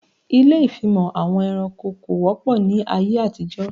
Ilé ìfimọ̀ àwọn ẹranko kò wọ́pọ̀ ní ayé àtijó